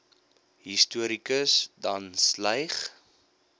historikus dan sleigh